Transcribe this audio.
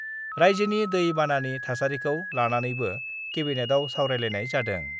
राइजोनि दै बानानि थासारिखौ लानानैबो केबिनेटयाव सावरायलायनाय जादों।